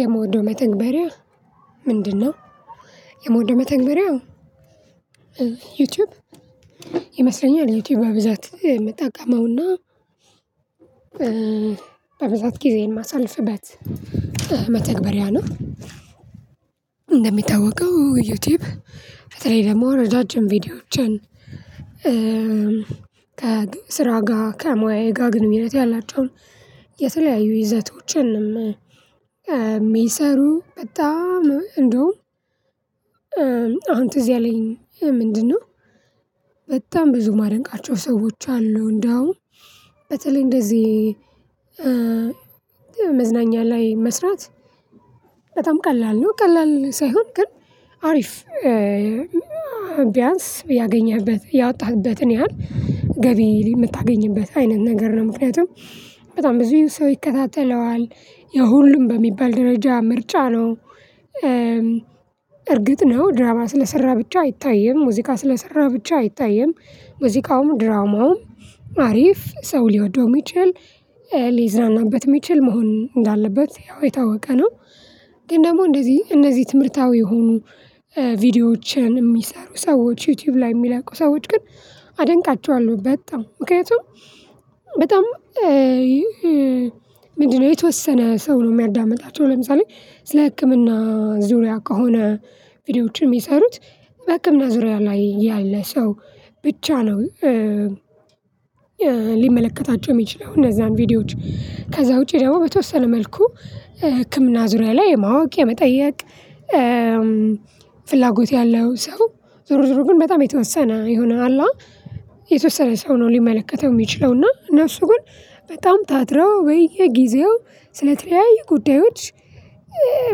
የምወደው መተግበሪያ ምንድነው? የምወደው መተግበሪያ ዩቲዩብ ይመስለኛል ዩቲዩብ በብዛት የምትጠቀመውና በብዛት ጊዜ የማሳልፍበት መተግበሪያ ነው። እንደሚታወቀው ዩቱዩብ በተለይ ደግሞ ረጃጅም ቪዲዮዎችን። ከ ግ ስራ ጋር ከሙያዬ ጋር ግንኙነት ያላቸውን የተለያዩ ይዘቶችንም የሚሰሩ በጣም እንደውም አሁን ትዝ ያለኝ ምንድነው? በጣም ብዙ ማደንቃቸው ሰዎች አሉ። እንደውም በተለይ እንደዚህ መዝናኛ ላይ መስራት በጣም ቀላል ነው። ቀላል ሳይሆን ግን አሪፍ ቢያንስ ያገኘህበት ያወጣህበትን ያህል ገቢ የምታገኝበት አይነት ነገር ነው። ምክንያቱም በጣም ብዙ ሰው ይከታተለዋል የሁሉም በሚባል ደረጃ ምርጫ ነው። እርግጥ ነው ድራማ ስለሰራህ ብቻ አይታይም ሙዚቃ ስለሰራ ብቻ አይታይም ሙዚቃውም ድራማውም አሪፍ ሰው ሊወደው የሚችል ሊዝናናበት የሚችል መሆን እንዳለበት ያው የታወቀ ነው። ግን ደግሞ እንደዚህ እነዚህ ትምህርታዊ የሆኑ ቪዲዮዎችን የሚሰሩ ሰዎች ዩቲዩብ ላይ የሚለቁ ሰዎች ግን አደንቃቸዋለሁ። በጣም ምክንያቱም በጣም ምንድነው የተወሰነ ሰው ነው የሚያዳምጣቸው ለምሳሌ ስለ ህክምና ዙሪያ ከሆነ ቪዲዮዎች የሚሰሩት በህክምና ዙሪያ ላይ ያለ ሰው ብቻ ነው። ሊመለከታቸው የሚችለው እነዛን ቪዲዮዎች ከዛ ውጪ ደግሞ በተወሰነ መልኩ ህክምና ዙሪያ ላይ የማወቅ የመጠየቅ። ፍላጎት ያለው ሰው ዞሮዞሮ ግን በጣም የተወሰነ የሆነ አለ አ የተወሰነ ሰው ነው። ሊመለከተው የሚችለው እና እነሱ ግን በጣም ታትረው ብየጊዜው ስለተለያዩ ጉዳዮች።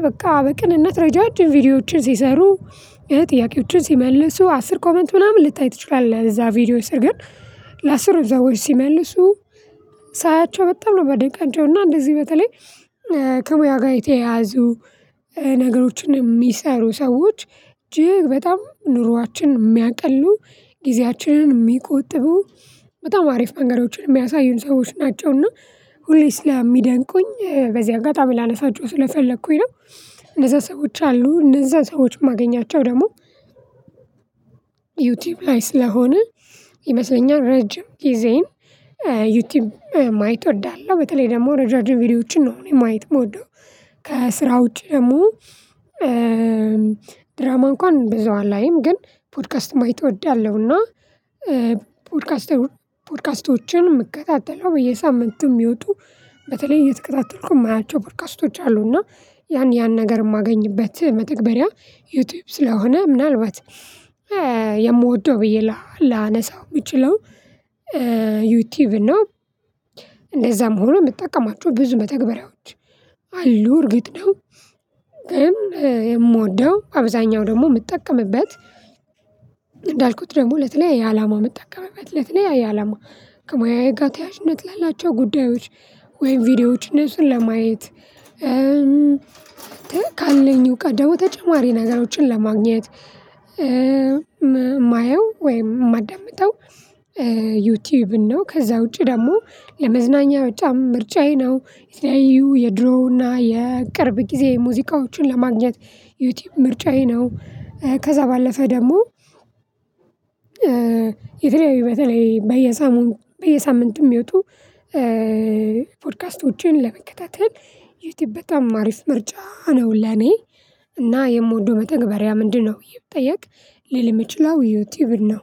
በቃ በቅንነት ረጃጅም ቪዲዮዎችን ሲሰሩ ጥያቄዎችን ሲመልሱ አስር ኮሜንት ምናምን ልታይ ትችላለህ። እዛ ቪዲዮ ስር ግን ለአስሩም ሰዎች ሲመልሱ ሳያቸው በጣም ነው የማደንቃቸውና እንደዚህ በተለይ። ከሙያ ጋር የተየያዙ ነገሮችን የሚሰሩ ሰዎች እጅግ በጣም ኑሯችን የሚያቀሉ ጊዜያችንን የሚቆጥቡ በጣም አሪፍ መንገዶችን የሚያሳዩን ሰዎች ናቸውና ሁሌ ስለሚደንቁኝ በዚያ አጋጣሚ ላነሳችሁ ስለፈለኩኝ ነው። እነዛ ሰዎች አሉ እነዛን ሰዎች እማገኛቸው ደግሞ። ዩቱዩብ ላይ ስለሆነ ይመስለኛል ረጅም ጊዜን ዩቲዩብ ማየት እወዳለሁ። በተለይ ደግሞ ረጃጅም ቪዲዮዎችን ነው እኔ ማየት የምወደው። ከስራ ውጪ ደግሞ ድራማ እንኳን በዙ አላይም ግን ፖድካስት ማየት እወዳለሁና። ፖድካስቶችን እምከታተለው በየሳምንቱ የሚወጡ በተለይ እየተከታተልኩ የማያቸው ፖድካስቶች አሉ እና ያን ያን ነገር የማገኝበት መተግበሪያ። ዩቱዩብ ስለሆነ ምናልባት የምወደው ብዬ ላ ላነሳው የምችለው ዩቱዩብን ነው። እንደዛም ሆኖ የምጠቀማቸው ብዙ መተግበሪያዎች አሉ እርግጥ ነው። ግን የምወደው አብዛኛው ደግሞ የምጠቀምበት እንዳልኩት ደግሞ ለተለያየ አላማ የምጠቀምበት ለተለያየ አላማ ከሙያዬ ጋር ተያያዥነት ላላቸው ጉዳዮች ወይም ቪዲዮዎችን እንሱን ለማየት እም ካለኝ እውቀት ደግሞ ተጨማሪ ነገሮችን ለማግኘት እማየው ወይም እማዳመጠው። ዩቱዩብን ነው። ከዛ ውጪ ደግሞ ለመዝናኛ በጣም ምርጫዬ ነው። የተለያዩ የድሮና የቅርብ ጊዜ ሙዚቃዎችን ለማግኘት ዩቱዩብ ምርጫዬ ነው። ከዛ ባለፈ ደግሞ። የተለያዩ በተለይ በየሳምንት በየሳምንት የሚወጡ ፖድካስቶችን ለመከታተል ዩቱዩብ በጣም አሪፍ ምርጫ ነው ለኔ። እና የምወደው መተግበሪያ ምንድን ነው ብየ ብጠየቅ። ልል የሚችለው ዩቱዩብን ነው።